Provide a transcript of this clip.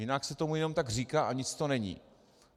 Jinak se tomu jenom tak říká a nic to není.